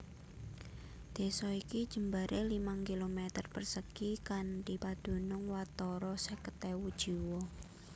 Désa iki jembaré limang kilometer persegi kanthi padunung watara seket ewu jiwa